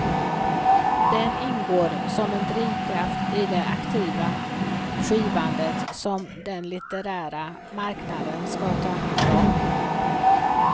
Den ingår som en drivkraft i det aktiva skivande som den litterära marknaden skall ta hand om.